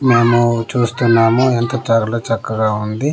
మేము చూస్తున్నాము ఎంత చారులో చక్కగా ఉంది.